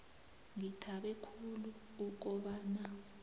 ngithabe khulu ukobana